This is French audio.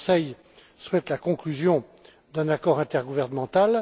Le Conseil souhaite la conclusion d'un accord intergouvernemental